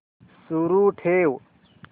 सुरू ठेव